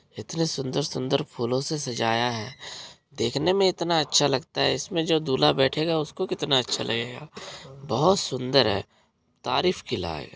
इतने सुंदर-सुंदर फूलों से सजाया है। देखने में इतना अच्छा लगता है। इसमे जो दूल्हा बेठेगा उसको कितना अच्छा लगेगा । बहुत सुंदर है तारीफ के लायक।